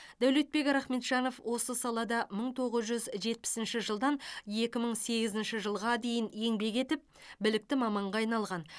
дәулетбек рахметжанов осы салада мың тоғыз жүз жетпісінші жылдан екі мың сегізінші жылға дейін еңбек етіп білікті маманға айналған